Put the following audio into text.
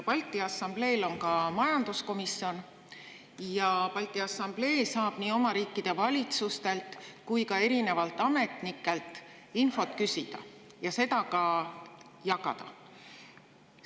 Balti Assambleel on ka majanduskomisjon ja Balti Assamblee saab nii oma riikide valitsustelt kui ka erinevatelt ametnikelt infot küsida ja seda ka jagada.